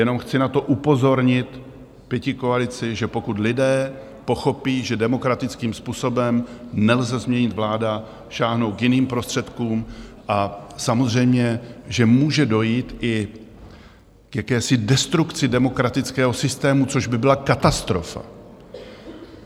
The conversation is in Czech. Jenom chci na to upozornit pětikoalici, že pokud lidé pochopí, že demokratickým způsobem nelze změnit vládu, sáhnou k jiným prostředkům, a samozřejmě že může dojít i k jakési destrukci demokratického systému, což by byla katastrofa.